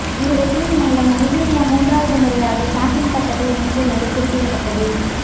இந்த வெற்றியின் மூலம் நைஜீரியா மூன்றாவது முறையாக சாம்பியன் பட்டத்தை வென்றுள்ளது குறிப்பிடத்தக்கது